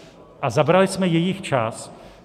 A zabrali jsme jejich čas.